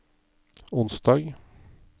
onsdag